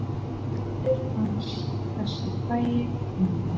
Faðir hans, þessi frægi einbúi.